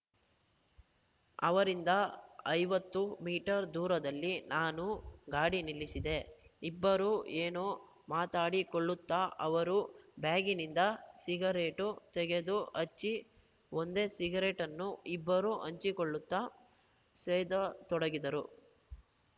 ಅವರಿಂದ ಐವತ್ತು ಮೀಟರ್‌ ದೂರದಲ್ಲಿ ನಾನು ಗಾಡಿ ನಿಲ್ಲಿಸಿದೆ ಇಬ್ಬರೂ ಏನೋ ಮಾತಾಡಿಕೊಳ್ಳುತ್ತಾ ಅವರ ಬ್ಯಾಗಿನಿಂದ ಸಿಗರೇಟು ತೆಗೆದು ಹಚ್ಚಿ ಒಂದೇ ಸಿಗರೇಟನ್ನು ಇಬ್ಬರೂ ಹಂಚಿಕೊಳ್ಳುತ್ತಾ ಸೇದತೊಡಗಿದರು